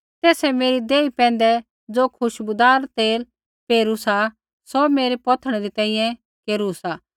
तेसै मेरी देही पैंधै ज़ो खुशबूदार तेल पेरू सा सौ मेरै पौथिणै री तैंईंयैं केरू सा